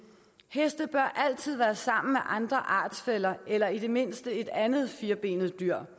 heste bør altid være sammen med andre artsfæller eller i det mindste et andet firbenet dyr